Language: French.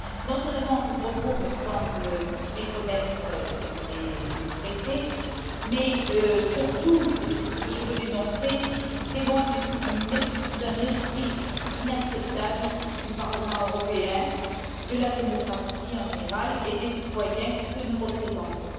Non seulement, ces propos me semblent méconnaître les traités, mais surtout, et c'est ce que je veux dénoncer, ils témoignent d'un mépris inacceptable du Parlement européen, de la démocratie en général et des citoyens que nous représentons.